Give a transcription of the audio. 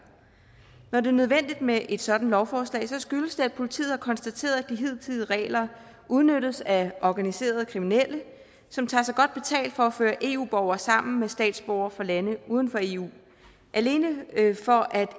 når det er nødvendigt med et sådant lovforslag skyldes det at politiet har konstateret at de hidtidige regler udnyttes af organiserede kriminelle som tager sig godt betalt for at føre eu borgere sammen med statsborgere fra lande uden for eu alene for at